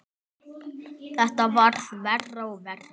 Þetta varð verra og verra.